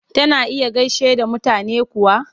Tana iya gaishe da mutane kuwa?